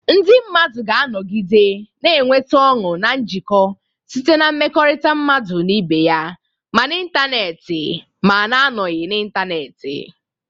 Ndị mmadụ ga-anọgide na-enweta ọṅụ na njikọ site na mmekọrịta mmadụ na ibe ya, ma n'ịntanetị na-anọghị n'ịntanetị.